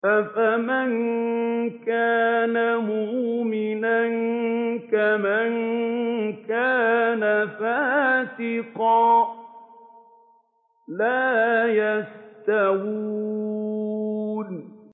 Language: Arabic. أَفَمَن كَانَ مُؤْمِنًا كَمَن كَانَ فَاسِقًا ۚ لَّا يَسْتَوُونَ